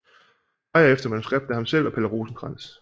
Dreyer efter manuskript af ham selv og Palle Rosenkrantz